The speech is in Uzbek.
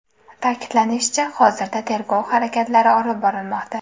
Ta’kidlanishicha, hozirda tergov harakatlari olib borilmoqda.